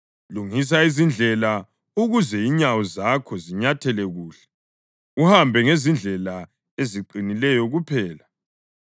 Lungisa izindlela ukuze inyawo zakho zinyathele kuhle, uhambe ngezindlela eziqinileyo kuphela.